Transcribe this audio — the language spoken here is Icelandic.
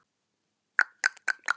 Keflavík bara með einn mann?